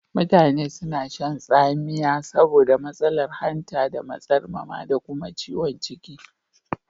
Mutane suna shan tsamiya saboda matsalar hanta da matsarmama da kuma ciwukan ciki.